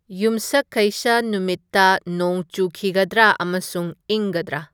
ꯌꯨꯝꯁꯀꯩꯁ ꯅꯨꯃꯤꯠꯇ ꯅꯣꯡ ꯆꯨꯈꯤꯒꯗ꯭ꯔꯥ ꯑꯃꯁꯨꯡ ꯏꯪꯒꯗ꯭ꯔꯥ